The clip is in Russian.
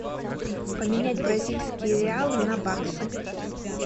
поменять бразильские реалы на баксы